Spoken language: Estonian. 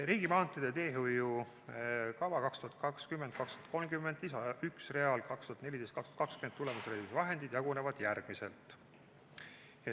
Riigimaanteede teehoiukava 2020–2030 lisa 1 real "2014–2020 tulemusreservi vahendid" jagunevad järgmiselt.